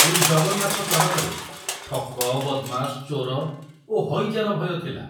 ପୁଣି ଜଗନ୍ନାଥ ସଡ଼କରେ ଠକ, ବଦମାସ, ଚୋର ଓ ହଇଜାର ଭୟ ଥିଲା।